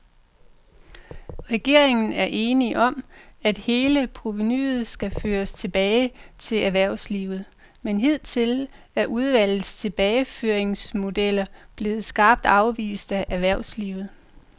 Regeringen er enig om, at hele provenuet skal føres tilbage til erhvervslivet, men hidtil er udvalgets tilbageføringsmodeller blevet skarpt afvist af erhvervslivet.